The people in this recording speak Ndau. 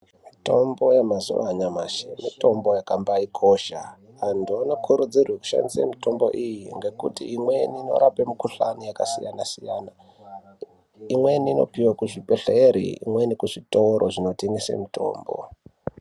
Mitombo yemazuva anyamashi mitombo yakabaikosha antu anokurudzirwa kushandisa mitombo iyi ngekuti imweni inorapa mikuhlani yakasiyana-siyana imweni unopihwa kuzvibhedhlera imweni kuzvitoro zvinotengeswa mitombo.